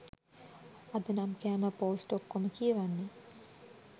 අද නම් කෑම පෝස්ට් ඔක්කොම කියවන්න